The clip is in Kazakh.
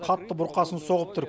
қатты бұрқасын соғып тұр